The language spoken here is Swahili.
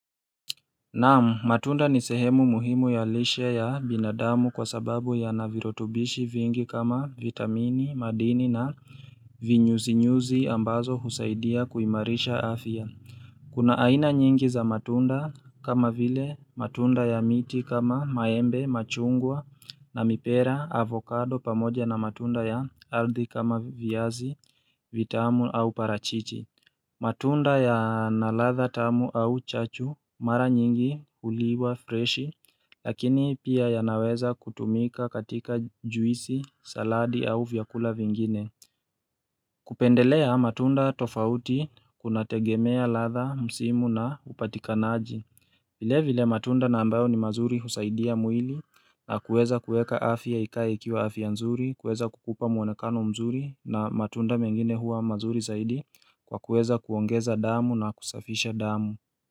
Naam matunda ni sehemu muhimu ya lishe ya binadamu kwa sababu ya navirotubishi vingi kama vitamini madini na vinyuzinyuzi ambazo husaidia kuimarisha afya Kuna aina nyingi za matunda kama vile matunda ya miti kama maembe machungwa na mipera avokado pamoja na matunda ya aldhi kama viazi vitamu au parachichi matunda ya na ladha tamu au chachu mara nyingi uliwa freshi lakini pia ya naweza kutumika katika juisi, saladi au vyakula vingine kupendelea matunda tofauti kuna tegemea ladha, msimu na upatikanaji vile vile matunda na ambayo ni mazuri husaidia mwili na kueza kueka afya ikae ikiwa afya nzuri, kueza kukupa mwonekano mzuri na matunda mengine huwa mazuri zaidi kwa kueza kuongeza damu na kusafisha damu.